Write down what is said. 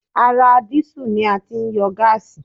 Ara dísù ni a ti ń yọ gáàsì